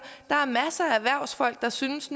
der er masser af erhvervsfolk der synes